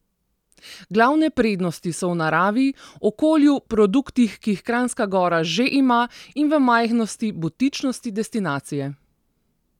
Glavne prednosti so v naravi, okolju, produktih, ki jih Kranjska Gora že ima, in v majhnosti, butičnosti destinacije.